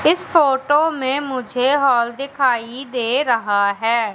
इस फोटो में मुझे हॉल दिखाई दे रहा है।